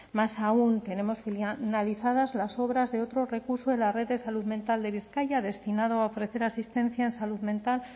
más aún tenemos analizadas las obras de otro recurso de la red de salud mental de bizkaia ha destinado a ofrecer asistencia en salud mental